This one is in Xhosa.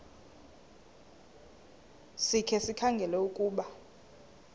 sikhe sikhangele ukuba